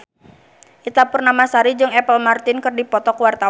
Ita Purnamasari jeung Apple Martin keur dipoto ku wartawan